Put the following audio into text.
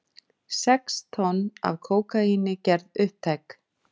Sex tonn af kókaíni gerð upptæk